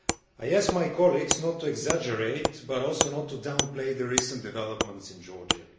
I ask my colleagues not to exaggerate, but also not to downplay, the recent developments in Georgia.